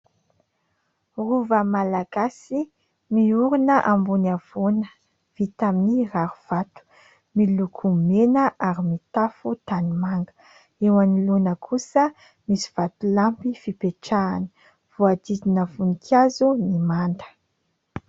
Rova Malagasy miorina ambony havoana vita amin'ny rary vato, miloko mena ary mitafo tanimanga, eo anoloana kosa misy vatolampy fipetrahana, voahodidina voninkazo ny manda.